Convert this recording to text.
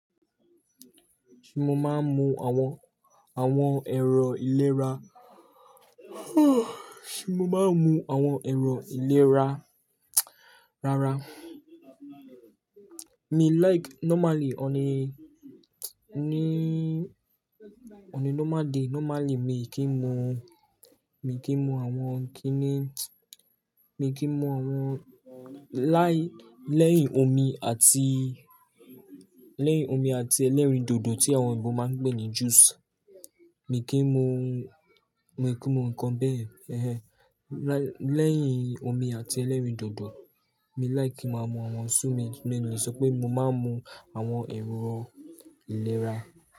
Ṣé mo máa ń mu àwọn ẹ̀rọ ìlera? Ṣé mo máa ń mu àwọn ẹ̀rọ ìlera rárá. Mi like normally, on a normal day normally mi kì í mu àwọn kíni, mi kì í mu àwọn láì, lẹ́yìn omi àti ẹlẹ́rìndòdò tí àwọn òyìnbó máa ń pè ní juice. Mi kì í mu nǹkan bẹ́ẹ̀ yen. Lẹ́yìn omi àti ẹlẹ́rìndòdò, mi like ki máa mu àwọn so mo le sọ pé mo máa ń mu àwọn ẹ̀rọ ìlera.